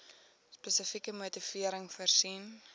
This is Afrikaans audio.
spesifieke motivering voorsien